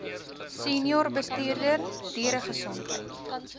senior bestuurder dieregesondheid